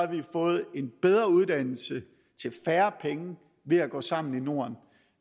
vi fået en bedre uddannelse til færre penge ved at gå sammen i norden